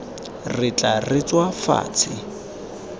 re tla re tswa fatshe